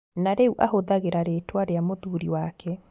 Na rĩu ahũthagĩra rĩtwa rĩa mũthuri wake